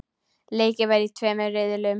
Leikið var í tveimur riðlum.